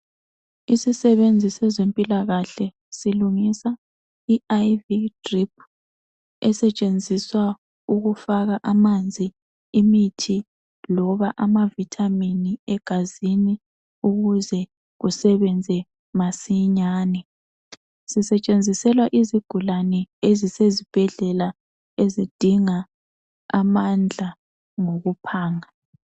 Isisebenzi sezempilakahle silungisa i- drip esetshenziswa ukufaka amanzi, imithi loba amavithamini egazini ukuze kusebenze masinyane. Sisetshenziselwa izigulane ezisezibhedlela ezidinga amandla ngokuphanga.